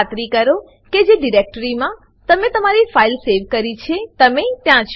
ખાતરી કરો કે જે ડિરેક્ટરી માં તમે તમારી ફાઈલ સેવ કરી છે તમે ત્યાં છો